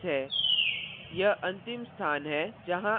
यह line 6 है